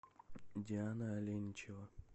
диана аленичева